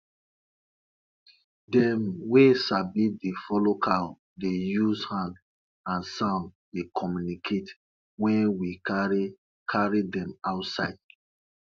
grandma swear sey her grondnut been grow well after she sing song about how sun dey start to shine for morning